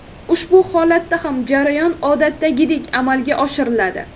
Ushbu holatda ham jarayon odatdagidek amalga oshiriladi.